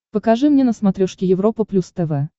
покажи мне на смотрешке европа плюс тв